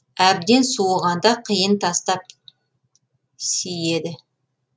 әбден суығанда қиын тастап сиеді